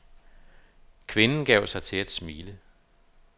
Kvinden gav sig til at smile.